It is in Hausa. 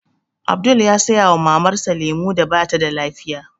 Abdul ya saya wa Mamar sa lemu da batada lafiya